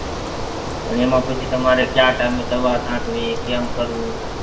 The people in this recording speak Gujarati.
પણ એમાં પછી તમારે ક્યાં time એ દવા છાંટવી કેમ કરવું?